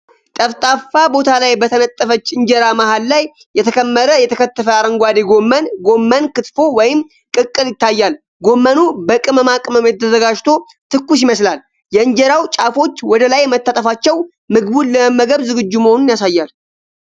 ጠፍጣፋ ቦታ ላይ በተነጠፈች እንጀራ መሃል ላይ የተከመረ የተከተፈ አረንጓዴ ጎመን (ጎመን ክትፎ ወይም ቅቅል) ይታያል። ጎመኑ በቅመማ ቅመም ተዘጋጅቶ ትኩስ ይመስላል። የእንጀራው ጫፎች ወደ ላይ መታጠፋቸው ምግቡን ለመመገብ ዝግጁ መሆኑን ያሳያል።